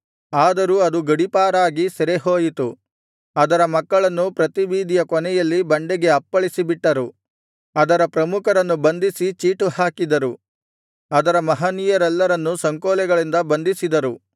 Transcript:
ಆದರೂ ಅದು ಗಡೀಪಾರಾಗಿ ಸೆರೆಹೋಯಿತು ಅದರ ಮಕ್ಕಳನ್ನು ಪ್ರತಿ ಬೀದಿಯ ಕೊನೆಯಲ್ಲಿ ಬಂಡೆಗೆ ಅಪ್ಪಳಿಸಿ ಬಿಟ್ಟರು ಅದರ ಪ್ರಮುಖರನ್ನು ಬಂಧಿಸಿ ಚೀಟು ಹಾಕಿದರು ಅದರ ಮಹನೀಯರೆಲ್ಲರನ್ನು ಸಂಕೋಲೆಗಳಿಂದ ಬಂಧಿಸಿದರು